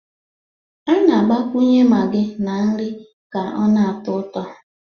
A na-agbakwunye Maggi na nri ka ọ na-atọ ụtọ